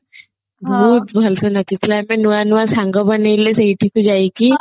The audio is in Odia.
ବହୁତ ଭଲ ସେ ନାଚି ଥିଲେ ଆମେ ନୂଆ ନୂଆ ସାଙ୍ଗ ବନେଇଲେ ସେଇଠିକୁ ଯାଇକି